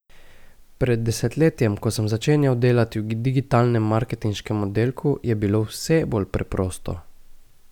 Pred desetletjem, ko sem začenjal delati v digitalnem marketinškem oddelku, je bilo vse bolj preprosto.